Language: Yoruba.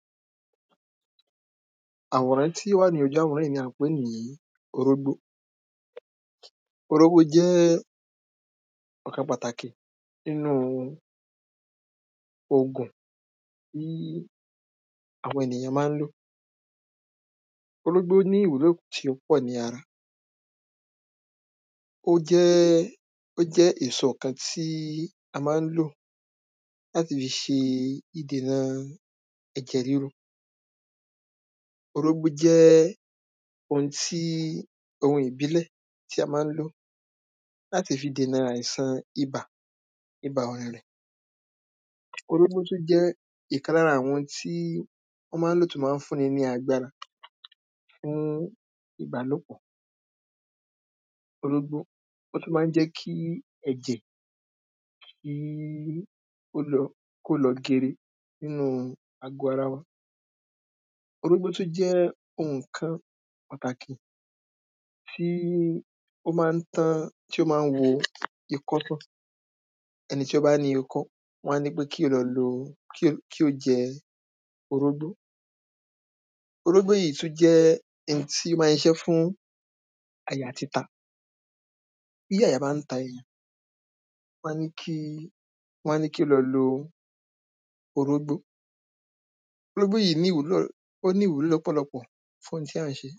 àwòrán tí ó wà lójú àwòrán yí ni a ń pè ní orógbó orógbó jẹ́ ọ̀kan pàtàkì nínu ògùn àwọn ènìyàn máa ń lò orógbó ní ìwúlò tí ó pọ̀ ní ara ó jẹ́ ó jẹ́ èso kan tí a máa ń lò láti ṣe ìdènà ẹ̀jẹ̀ ríru orógbó jẹ́ ohun ti ohun ìbílẹ̀ tí a máa ń lò láti fi dènà àìsàn ibà, ibà ọ̀rẹ̀rẹ̀ orógbó tún jẹ́ ìkan lára àwọn tí wọ́n máa ń lò láti fún ni lágbára fún ìbálòpọ̀ orógbó ó tún máa ń jẹ́ kí ẹ̀jẹ̀ kíí ó lọ kó lọ gere nínu àgọ́ ara wa orógbó tún jẹ́ ǹkan pàtàkì tí ó máa ń tán tí ó máa ń wo ikọ́ tán ẹni tí ó bá ní ikọ́ wọ́n á ní pe kí ó lọ lo, kí ó jẹ orógbó orógbó yí tún jẹ́ hin tín máa ń ṣiṣé fún àyà títa bí àyà bá ń ta ènìyàn, wọ́n á ní kí, wọ́n á ní kí ó lọ lo orógbó, orógbó yí ní ìwúlò ó ní ìwúlò lọ́pọ̀lọpọ̀ fún ohun tí a ń ṣe